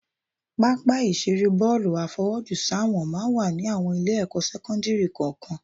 Pápá ìṣeré fún bọ́ọ̀lù àfọwọ́jùsáwọ̀n máa ń wà ní àwọn Ilé-ẹ̀kọ́ sẹ́kọ́ńdìrì kọ̀ọ̀kan